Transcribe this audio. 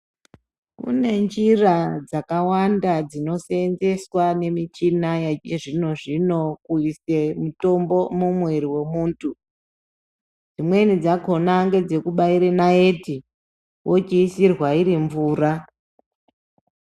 Kune njira dzakawanda dzinosenzeswa nemichina yechizvino zvino pobudisa mutombo mumwiri wemuntu dzimweni dzakona ndedzekubaura naiti wochiisirwa iri mvura.